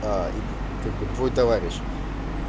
и как бы твой товарищ